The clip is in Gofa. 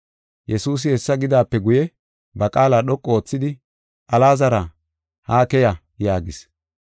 Yesuusi hessa gidaape guye, ba qaala dhoqu oothidi, “Alaazara, haa keya!” yaagis.